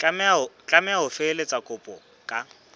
tlameha ho felehetsa kopo ka